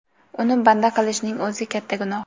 Uni banda qilishning o‘zi katta gunoh.